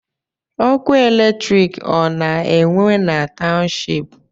Ọkụ electriki ọ na-enwe na township?